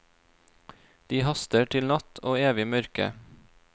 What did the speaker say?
De haster til natt og evig mørke.